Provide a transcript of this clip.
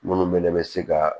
Minnu bɛɛ bɛ se ka